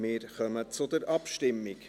Wir kommen zur Abstimmung.